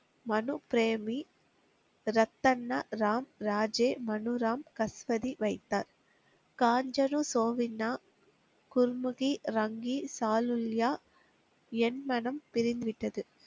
மனு பிரேமி ரத்தன்னா ராம் ராஜே மனுராம் கஸ்பதி வைத்தார். காஞ்சரு சோவின்னா குர்முகி ரங்கி சாலுல்யா என் மனம் பிரிந்து விட்டது.